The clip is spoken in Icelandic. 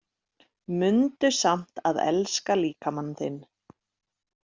Mundu samt að elska líkama þinn